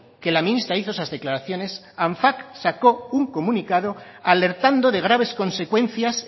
que la ministra hizo esas declaraciones anfac sacó un comunicado alertando de graves consecuencias